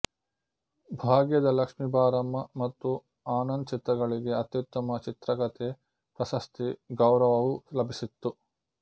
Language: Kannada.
ಭಾಗ್ಯದ ಲಕ್ಷ್ಮಿ ಬಾರಮ್ಮ ಮತ್ತು ಆನಂದ್ ಚಿತ್ರಗಳಿಗೆ ಅತ್ಯುತ್ತಮ ಚಿತ್ರಕಥೆ ಪ್ರಶಸ್ತಿ ಗೌರವವೂ ಲಭಿಸಿತ್ತು